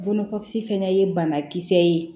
Bolokɔkisi fɛnɛ ye banakisɛ ye